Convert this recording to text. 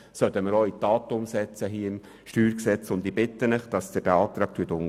Hier im StG können wir das tun.